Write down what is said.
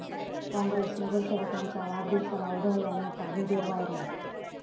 काँग्रेस नगरसेवकाच्या वाढदिवसाला उधळल्या नोटा, व्हिडिओ व्हायरल